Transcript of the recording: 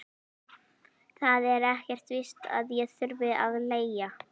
Það er ekkert víst að ég þurfi að leigja.